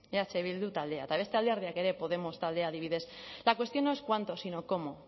eh bildu taldea eta beste alderdiak ere podemos taldea adibidez la cuestión no es cuánto sino cómo